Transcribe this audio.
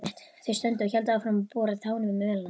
Þau stundu og héldu áfram að bora tánum í mölina.